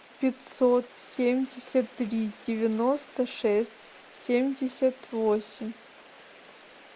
пятьсот семьдесят три девяносто шесть семьдесят восемь